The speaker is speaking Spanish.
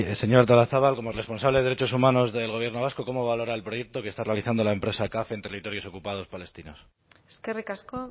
señora artolazabal como responsable de derechos humanos del gobierno vasco cómo valora el proyecto que está realizando la empresa caf en territorios ocupados palestinos eskerrik asko